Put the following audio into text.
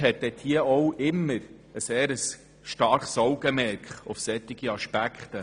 Die BaK legt immer ein starkes Augenmerk auf solche Aspekte.